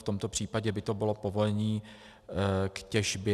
V tomto případě by to bylo povolení k těžbě.